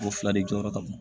O fila de jɔyɔrɔ ka bon